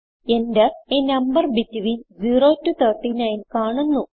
Enter a number between 0 to 39 കാണുന്നു